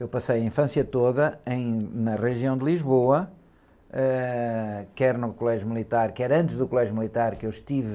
Eu passei a infância toda em, na região de Lisboa, ãh, quer no colégio militar, quer antes do colégio militar que eu estive